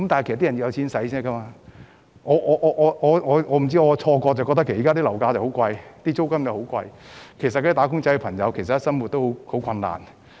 不知是否我的錯覺，我覺得現時樓價及租金均十分高昂，"打工仔"的生活理應十分困難。